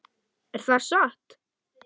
Er það satt?